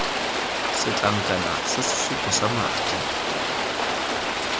setlankana sa sesupo sa madi